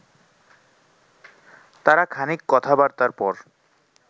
তারা খানিক কথাবার্তার পর